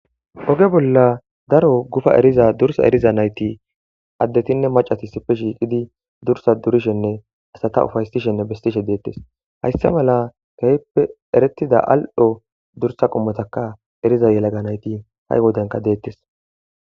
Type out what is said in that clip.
oge bolla daro gufa eriza dursa eriza nayti addetinne macati sipe shiiqidi dursa durishenne asata ufaysishenne bestishe deettes hayssa mala keheppe erettida al7ho dursa qommotaka eriza yelaga nayti ha7i wodanka deettes